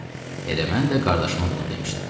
Elə mən də qardaşıma bunu demişdim.